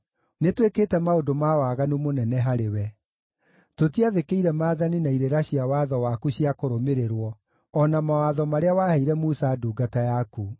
Nĩtwĩkĩte maũndũ ma waganu mũnene harĩwe. Tũtiathĩkĩire maathani na irĩra cia watho waku cia kũrũmĩrĩrwo, o na mawatho marĩa waheire Musa ndungata yaku.